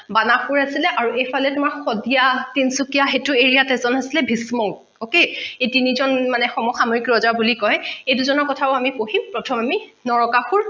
বানাহসুৰ আছিলে এইফালে তোমাৰ শদিয়া তিনিচুকীয়া সেইটো area ত এজন আছিলে ভীষ্ম okay এই তিনিজন মানে সমসাময়িক ৰজা বুলি কয় এই দুজনৰ কথাও আমি পঢ়িম প্ৰথম আমি নৰকাসুৰ